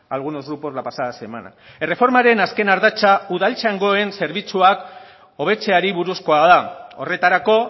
algunos grupos la pasada semana erreformaren azken ardatza udaltzaingoen zerbitzuak hobetzeari buruzkoa da horretarako